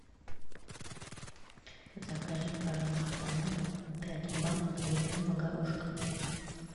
закажи пожалуйста на дом пять банок зеленого горошка